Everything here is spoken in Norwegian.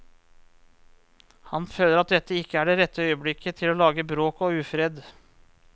Han føler at dette ikke er det rette øyeblikket til å lage bråk og ufred.